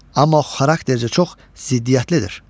Amma xaraktercə çox ziddiyyətlidir.